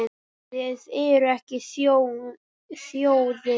Þið eruð ekki þjóðin!